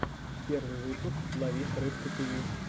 первый выпуск ловись рыбка тиви